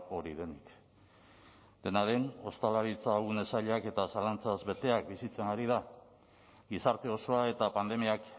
hori denik dena den ostalaritza une zailak eta zalantzaz betea bizitzen ari da gizarte osoa eta pandemiak